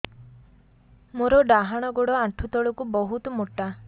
ମୋର ଡାହାଣ ଗୋଡ ଆଣ୍ଠୁ ତଳୁକୁ ବହୁତ ମୋଟା